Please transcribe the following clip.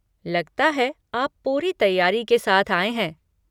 लगता है आप पूरी तैयारी के साथ आए हैं।